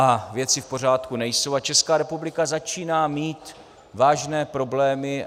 A věci v pořádku nejsou a Česká republika začíná mít vážné problémy.